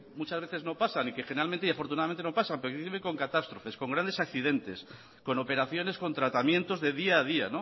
muchas veces no pasan y que generalmente y afortunadamente no pasan isiltasuna mesedez accidente con catástrofes con grandes accidentes con operaciones con tratamientos de día a día